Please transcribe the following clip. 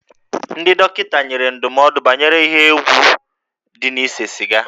Ndị dọkịta nyere ndụmọdụ banyere ihe egwu dị na ise siga